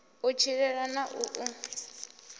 u tshilela na u u